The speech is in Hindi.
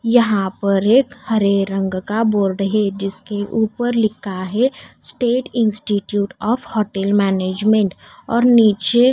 यहाँ पर एक हरे रंग का बोर्ड है जिसके ऊपर लिखा है state institute of hotel management और नीचे--